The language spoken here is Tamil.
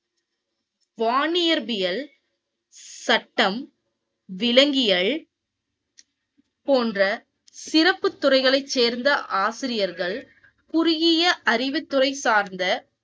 வானியற்பியல் சட்டம் விலங்கியல் போன்ற சிறப்பு துறைகளை சேர்ந்த ஆசிரியர்கள் குறுகிய அறிவு துறை சார்ந்த,